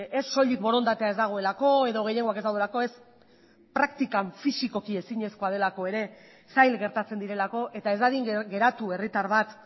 ez soilik borondatea ez dagoelako edo gehiengoak ez daudelako ez praktikan fisikoki ezinezkoa delako ere zail gertatzen direlako eta ez dadin geratu herritar bat